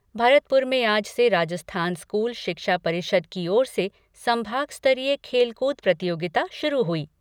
भरतपुर में आज से राजस्थान स्कूल शिक्षा परिषद की ओर से संभाग स्तरीय खेलकूद प्रतियोगिता शुरू हुई।